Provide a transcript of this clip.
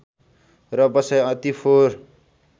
र बसाइ अति फोहर